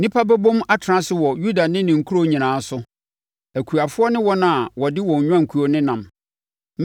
Nnipa bɛbom atena ase wɔ Yuda ne ne nkuro nyinaa so, akuafoɔ ne wɔn a wɔde wɔn nnwankuo nenam.